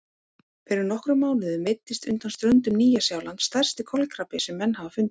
Fyrir nokkrum mánuðum veiddist undan ströndum Nýja-Sjálands stærsti kolkrabbi sem menn hafa fundið.